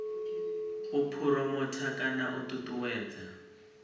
u phuromotha kana u ṱuṱuwedza